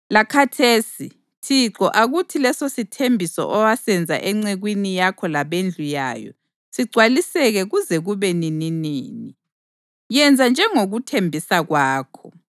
Lakhathesi, Thixo akuthi lesosithembiso owasenza encekwini yakho labendlu yayo sigcwaliseke kuze kube nininini. Yenza njengokuthembisa kwakho,